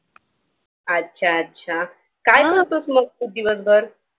अच्छा अच्छा काय करतेस मग तू दिवसभर?